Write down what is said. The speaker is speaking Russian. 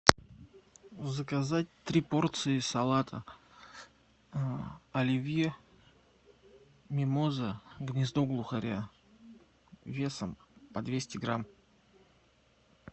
заказать три порции салата оливье мимоза гнездо глухаря весом по двести грамм